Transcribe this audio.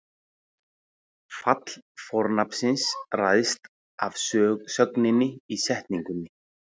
Fall fornafnsins ræðst af sögninni í setningunni.